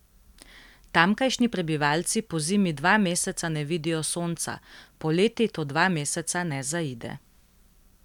Tamkajšnji prebivalci pozimi dva meseca ne vidijo sonca, poleti to dva meseca ne zaide.